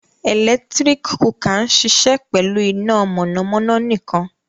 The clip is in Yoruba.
Ẹlẹktirik kukạ n ṣiṣẹ pẹlu ina mọnamọna nikan.